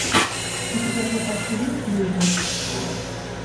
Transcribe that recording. у тебя в запасе есть люди